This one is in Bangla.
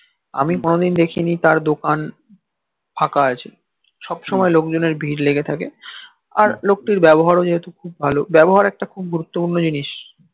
আমি কোনদিন দেখিনি তার দকান ফাকা আছে সবসময় লোক জনের ভির লেগে থাকে আর লক্তির ব্যবহার ও যেহেতু খুব ভাল ব্যবহার একটা গুতুরতপুরন জিনিস